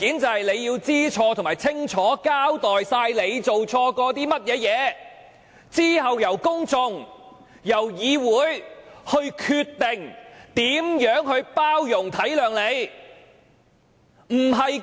她要知錯並清楚交代自己做錯的一切，之後由公眾和議會決定如何包容、體諒她。